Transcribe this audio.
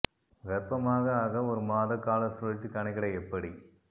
கர்ப்பமாக ஆக ஒரு மாத கால சுழற்சி கணக்கிட எப்படி